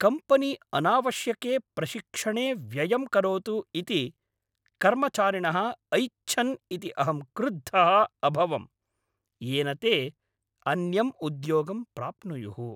Company अनावश्यके प्रशिक्षणे व्ययं करोतु इति कर्मचारिणः ऐच्छन् इति अहं क्रुद्धः अभवं, येन ते अन्यम् उद्योगं प्राप्नुयुः।